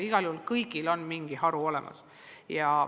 Igal juhul kõigil on mingi võimalus olemas.